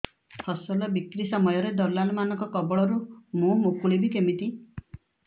ଫସଲ ବିକ୍ରୀ ସମୟରେ ଦଲାଲ୍ ମାନଙ୍କ କବଳରୁ ମୁଁ ମୁକୁଳିଵି କେମିତି